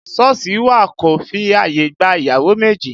Sọ́ọ̀sì wà kò fi ààyè gba ìyàwó méjì